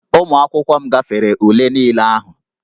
Ụmụ akwụkwọ m gafere ule niile ahụ